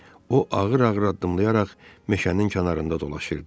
O ağır-ağır addımlayaraq meşənin kənarında dolaşırdı.